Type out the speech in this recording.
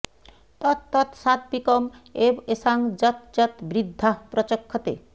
তৎ তৎ সাৎবিকম্ এব এষাং যৎ যৎ বৃদ্ধাঃ প্রচক্ষতে